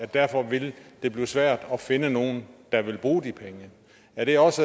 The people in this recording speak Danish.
derfor vil blive svært at finde nogen der vil bruge de penge er det også